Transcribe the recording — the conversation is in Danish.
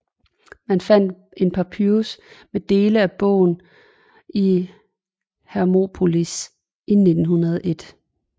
Man fandt en papyrus med dele af bogen i Hermopolis i 1901